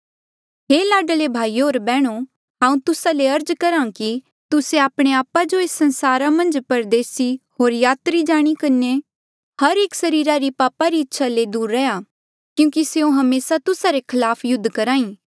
हे लाडले भाईयो होर बैहणो हांऊँ तुस्सा ले अर्ज करहा कि तुस्से आपणे आपा जो एस संसारा मन्झ परदेसी होर यात्री जाणी किन्हें हर एक सरीरा री पापा री इच्छा ले दूर रैहया क्यूंकि स्यों हमेसा तुस्सा रे खलाप युद्ध करहा ई